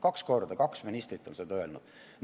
Kaks korda, kaks ministrit on seda öelnud!